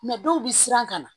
dɔw bɛ siran ka na